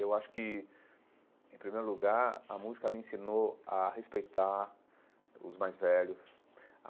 Eu acho que, em primeiro lugar, a música me ensinou a respeitar os mais velhos.